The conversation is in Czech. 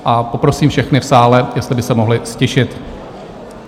A poprosím všechny v sále, jestli by se mohli ztišit.